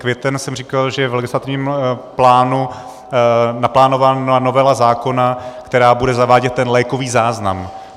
Květen jsem říkal, že je v legislativním plánu naplánována novela zákona, která bude zavádět ten lékový záznam.